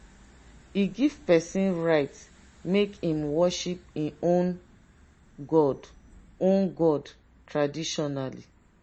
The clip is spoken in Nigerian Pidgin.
e give pesin right make im worship im own god own god traditionally.